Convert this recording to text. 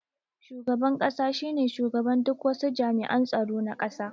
Shugaban ƙasa shine shugaban duk wasu jami'an tsaro na ƙasa